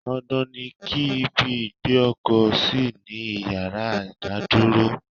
Dandan ni ki ibi ìgbé ọkọ̀ sí ní ìyára ìdádúró.